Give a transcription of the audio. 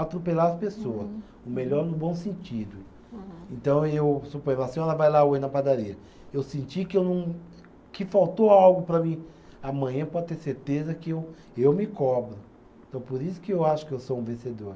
Atropelar as pessoa, o melhor no bom sentido. Então eu suponho, a senhora vai lá hoje na padaria, eu senti que eu não, que faltou algo para mim, amanhã pode ter certeza que eu, eu me cobro. Então por isso que eu acho que eu sou um vencedor